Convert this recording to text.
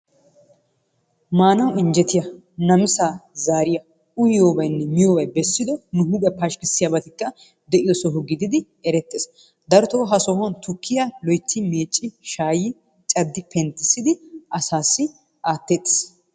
Maanawu injjettiya namisa zariyaa uyiyobbaynne miyobbay beessido huuphiya paskkissiyabatikka deiyossaa giidid erettees. Darottoo ha sohuwan tukkiya loytti meecci shaayi caddi penttissidi asaassi aatteetes.